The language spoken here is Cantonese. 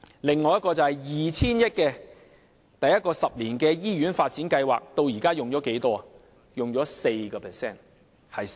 此外，有一項 2,000 億元的第一個十年醫院發展計劃，至今僅用了 4% 的款項。